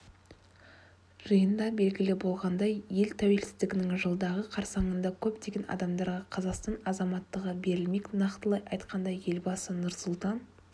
жиында белгілі болғандай ел тәуелсіздігінің жылдығы қарсаңында көптеген адамдарға қазақстан азаматтығы берілмек нақтылай айтқанда елбасы нұрсұлтан